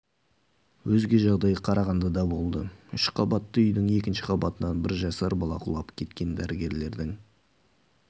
өзге жағдай қарағандыда болды үш қабатты үйдің екінші қабатынан бір жасар бала құлап кеткен дәрігерлердің